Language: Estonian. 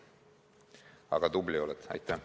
Aga tubli oled!